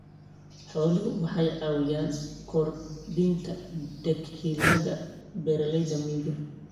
Xooluhu waxay caawiyaan kordhinta dakhliga beeralayda miyiga.